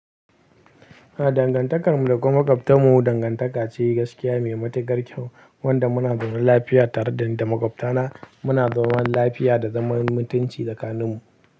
Dangantakarmu da makwabtanmu dangantaka ce gaskiya mai matukar kyau wanda muna zaune lafiya tare da makwabtana. Muna zaune lafiya da zaman mutunci tsakaninmu.